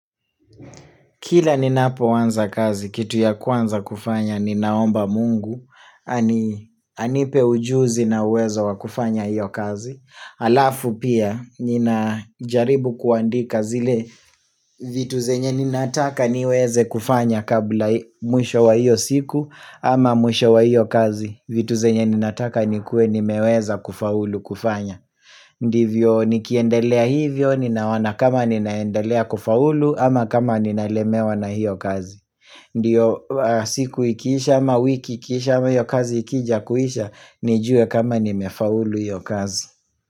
Kila ninapoanza kazi, kitu ya kwanza kufanya, ninaomba mungu, anipe ujuzi na uweza wa kufanya hiyo kazi. Alafu pia, ninajaribu kuandika zile, vitu zenye ninataka niweze kufanya kabla mwisho wa hiyo siku, ama mwisho wa hiyo kazi, vitu zenye ninataka nikue nimeweza kufaulu kufanya. Ndivyo nikiendelea hivyo, ninaona kama ninaendelea kufaulu ama kama ninalemewa na hiyo kazi Ndio siku ikisha ama wiki ikisha ama hiyo kazi ikija kuisha, nijue kama nimefaulu hiyo kazi.